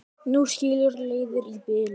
Nú skilur leiðir í bili.